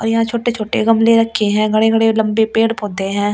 और यहां छोटे-छोटे गमले रखे हैं बड़े - बड़े लंबे पेड़-पौधे हैं।